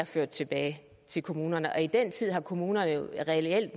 ført tilbage til kommunerne og i den tid har kommunerne jo reelt